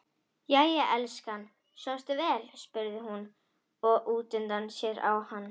Jæja elskan, svafstu vel, spurði hún og leit útundan sér á hann.